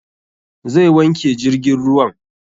Zai wanke jirgin ruwan